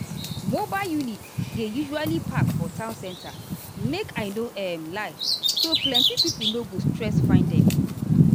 mobile units dey usually park for town center make i no um lie so plenty people no go stress find them.